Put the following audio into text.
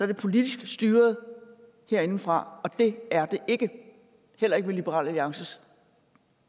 det politisk styret herindefra og det er det ikke heller ikke med liberal alliances